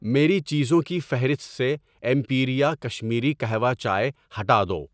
میری چیزوں کی فہرست سے ایمپیریا کشمیری کہوہ چائے ہٹا دو۔